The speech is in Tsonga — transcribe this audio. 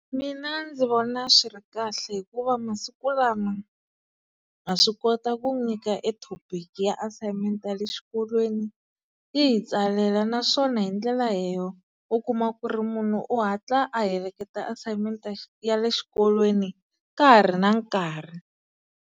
Mina ndzi vona swi ri kahle hikuva masiku lama, ha swi kota ku nyika e thopiki ya assignment ya le xikolweni ti hi tsalela naswona hi ndlela leyo u kuma ku ri munhu u hatla a heleketa assignment ya ya le xikolweni ka ha ri na nkarhi.